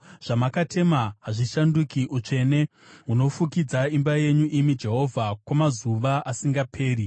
Zvamakatema hazvishanduki; utsvene hunofukidza imba yenyu imi Jehovha, kwamazuva asingaperi.